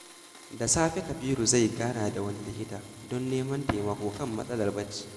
Da safe, Kabiru zai gana da wani likita don neman taimako kan matsalar bacci.